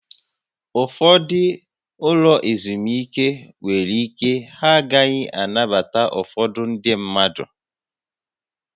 Ụfọdụ ụlọ ezumike nwere ike ha agaghị anabata ụfọdụ ndị mmadụ